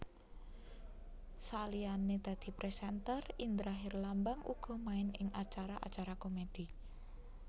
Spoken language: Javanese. Saliyané dadi presenter Indra Herlambang uga main ing acara acara komedi